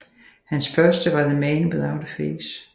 Hans første var The Man Without A Face